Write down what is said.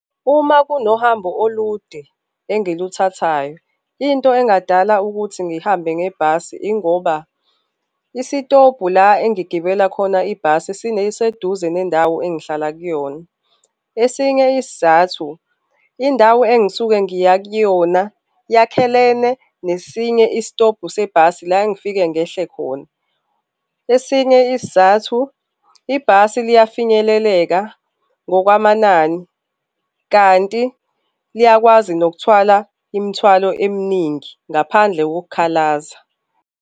Uma kunohambo olude engiluthathayo, into engadala ukuthi ngihambe ngebhasi ingoba isitobhu la engigibela khona ibhasi siseduze nendawo engihlala kuyona, esinye isizathu indawo engisuke ngiya kuyona yakhalene nesinye isitobhu sebhasi la engifike ngehle khona. Esinye isizathu, ibhasi liyafinyeleleka ngokwamanani kanti liyakwazi nokuthwala imithwalo eminingi ngaphandle kokukhalaza.